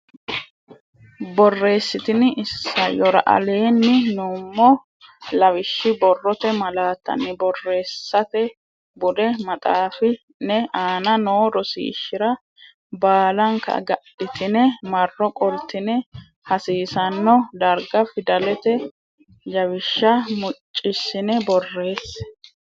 Borreessitini isayyora aleenni nummo lawishshi borrote malaattanna borreessate bude maxaafi ne aana noo rosiishshira baalanka agadhitine marro qoltine hasiisanno darga fidalete jawishsha muccissine borreesse.